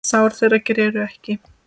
Sár þeirra greru ekki.